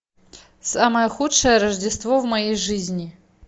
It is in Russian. самое худшее рождество в моей жизни